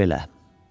Demək belə.